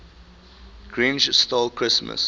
grinch stole christmas